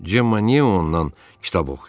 Cemma niyə ondan kitab oxuyur?